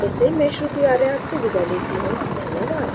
I I T Bombay से मैं श्रुति आर्य आपसे विदा लेती हूँ धन्यवाद